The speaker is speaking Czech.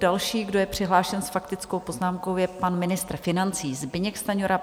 Další, kdo je přihlášen s faktickou poznámkou, je pan ministr financí Zbyněk Stanjura.